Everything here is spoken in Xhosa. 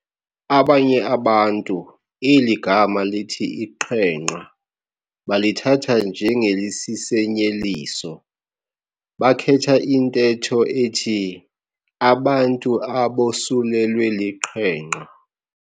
Abanye abantu eli gama lithi iqhenqa balithatha njengelisisenyeliso, bakhetha intetho ethi "abantu abosulelwe liqhenqa".